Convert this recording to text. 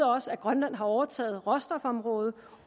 også at grønland har overtaget råstofområdet